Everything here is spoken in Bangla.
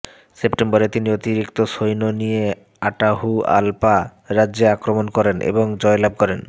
সেপ্টেম্বরে তিনি অতিরিক্ত সৈন্য নিয়ে আটাহুআলপা রাজ্যে আক্রমণ করেন এবং জয়লাভ করেন